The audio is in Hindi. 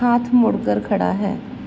हाथ मोड़ कर खड़ा है।